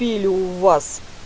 пили у вас